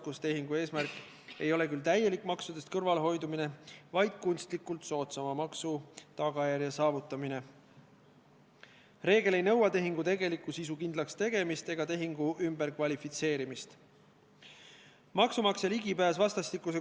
Kui me täna eelnõu 47 teise lugemise katkestame, siis me võtame endale aega arutamiseks, kas on normaalne, kui Eestis kehtiksid rongireisijatel samasugused tarbijaõigused kui ülejäänud Euroopa Liidus.